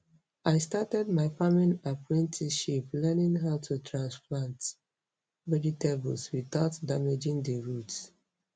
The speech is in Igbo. I started my farming apprenticeship learning how to transplant vegetables without damaging the roots.